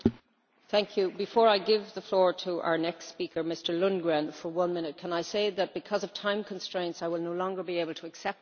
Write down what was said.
Before I give the floor to our next speaker Mr Lundgren for one minute, can I say that because of time constraints I will no longer be able to accept blue cards.